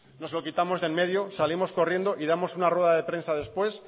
nos lo quitamos de en medio salimos corriendo y damos una rueda de prensa después